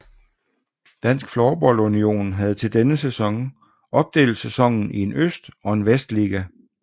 Dansk Floorball Union havde til denne sæson opdelt sæsonen i en øst og en vestliga